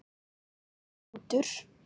Um leið og hrútur